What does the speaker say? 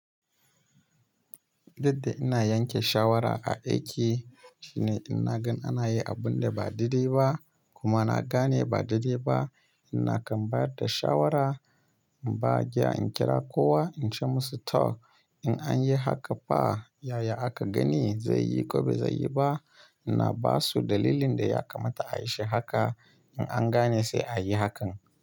Dukda ina yanke shawara a aiki shine ina gan ana yi abun da ba daidai ba kuma na gane ba daidai ba. Ina kan bayar da shawara, ba giya in kira kowa in ce musu "Toh, in an yi haka fa yaya aka gani zai yi ko ba zai yi ba?" Ina ba su dalilin da ya kamata a yi shi haka in an gane sai a yi hakan.